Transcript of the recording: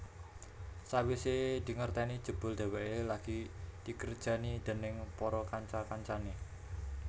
Sawisé dingerteni jebul dheweké lagi dikerjani déning para kanca kancané